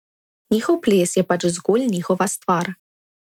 Njihov ples je pač zgolj njihova stvar.